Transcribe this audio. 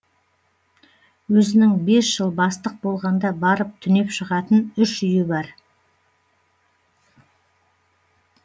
өзінің бес жыл бастық болғанда барып түнеп шығатын үш үйі бар